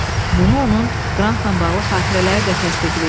Bunu onun Qrantla bağlı xatirələri də təsdiqləyir.